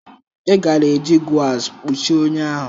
Ị gaara eji gauze kpuchie ọnya ahụ.